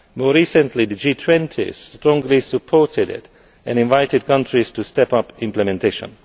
More recently, the G20 strongly supported it and invited countries to step up implementation.